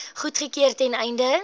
goedgekeur ten einde